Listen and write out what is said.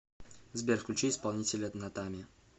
сбер включи исполнителя натами